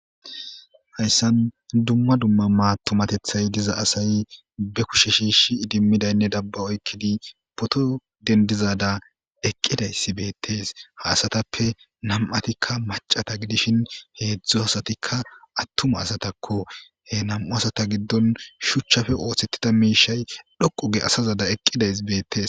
Hayssan dumma dumma maatumatethay diza asay be kushe shiish idimmidaynne dabba oykkidi poto dendizada eqqidayssi beettees ha asatappe nam'atikka macata gidishin heedzdzo hasatikka attuma asatakko he nam'u asata giddon shuchchape ooththettida miishay dhoqoge asazada eqqiday beettes.